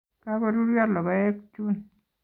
Kagoruryo logoek chun